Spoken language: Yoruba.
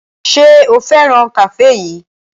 Ṣé o fẹ́ràn kafe yìí?